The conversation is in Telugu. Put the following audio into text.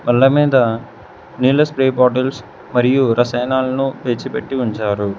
అల్ల మీద నీళ్ళ స్ప్రే బాటిల్స్ మరియు రసాయనాలను పేర్చి పెట్టి ఉంచారు.